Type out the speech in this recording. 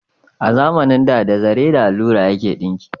A zamanin da, da zare da allura ake dinki